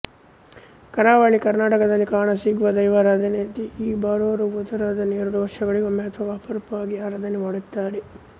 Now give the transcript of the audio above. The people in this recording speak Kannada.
ಕರಾವಳಿ ಕರ್ನಾಟಕದಲ್ಲಿ ಕಾಣ ಸಿಗುವ ದೈವಾರಾಧನೆಯಂತೆ ಈ ಬೊರಾರೋ ಭೂತಾರಾಧನೆ ಎರಡು ವರ್ಷಗಳಿಗೊಮ್ಮೆ ಅಥವಾ ಅಪರೂಪವಾಗಿ ಆರಾಧನೆ ಮಾಡುತ್ತಾರೆ